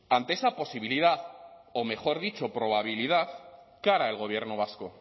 ante esa posibilidad o mejor dicho probabilidad qué hará el gobierno vasco